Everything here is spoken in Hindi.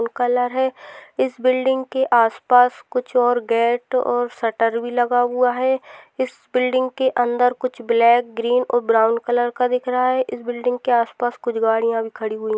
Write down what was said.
कलर है इस बिल्डिंग के आस पास कुछ और गेट और शटर भी लगा हुआ है इस बिल्डिंग के अंदर कुछ ब्लैक ग्रीन और ब्राउन भी कलर का दिख रहा है इस बिल्डिंग के आस पास कुछ गाड़िया भी खड़ी हुई है।